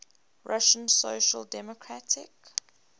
russian social democratic